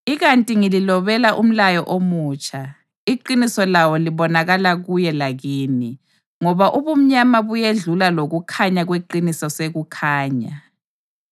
Ikanti ngililobela umlayo omutsha; iqiniso lawo libonakala kuye lakini, ngoba ubumnyama buyedlula lokukhanya kweqiniso sekukhanya.